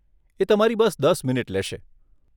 એ તમારી બસ દસ મિનિટ લેશે.